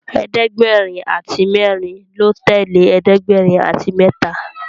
ẹ̀ẹ́dẹ̀gbẹ̀rin àti mérin ló tèlé ẹ̀ẹ́dẹ̀gbẹ̀rin àti méta.